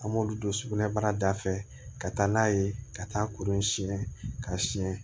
An b'olu don sugunɛbara da fɛ ka taa n'a ye ka taa kuru in siɲɛ ka siɲɛ